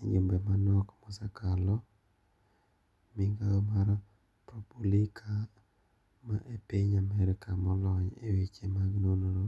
Ejumbe manok mosekalo ,migao mar Propulica ma epiny amerka molony eweche mag nonro